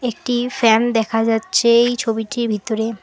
একটি ফ্যান দেখা যাচ্ছে এই ছবিটির ভিতরে।